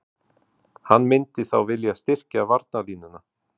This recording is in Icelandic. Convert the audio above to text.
Hann myndi þá vilja styrkja varnarlínuna.